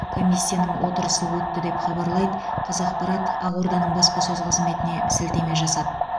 комиссияның отырысы өтті деп хабарлайды қазақпарат ақорданың баспасөз қызметіне сілтеме жасап